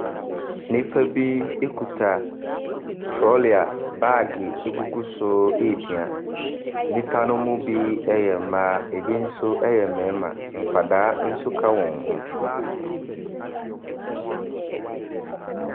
Nnipa bi kita trolley a baage gugu so repia. Nnipa no mu bi yɛ mmaa, ɛbi nso yɛ mmarima. Nkwadaa nso ka wɔn ho.